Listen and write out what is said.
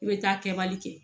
I bɛ taa kɛbali kɛ